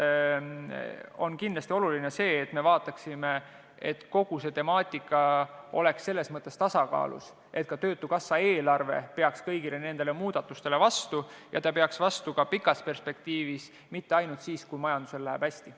On kindlasti oluline vaadata, et kogu temaatika oleks selles mõttes tasakaalus, st töötukassa eelarve peaks kõigile nendele muudatustele vastu ka kaugemas perspektiivis, mitte ainult siis, kui majandusel läheb hästi.